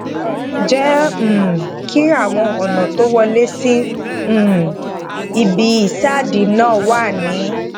jé um kí àwọn ònà tó wọlé sí um ibi ìsádi náà wà ní